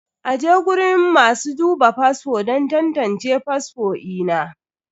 aje guriun masu duba fasfo don tantance fasfo ina.